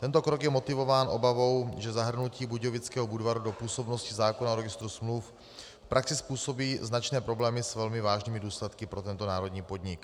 Tento krok je motivován obavou, že zahrnutí Budějovického Budvaru do působnosti zákona o registru smluv v praxi způsobí značné problémy s velmi vážnými důsledky pro tento národní podnik.